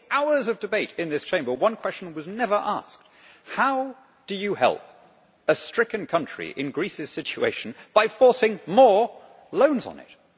In all the hours of debate in this Chamber, one question was never asked how do you help a stricken country in Greece's situation by forcing more loans on it?